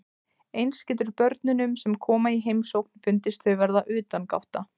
Eins getur börnunum sem koma í heimsókn fundist þau vera utangátta.